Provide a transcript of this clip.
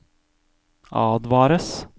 advares